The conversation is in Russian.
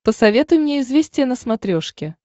посоветуй мне известия на смотрешке